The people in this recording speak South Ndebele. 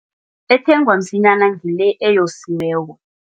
Ethengwa msinyana ngile eyosiweko.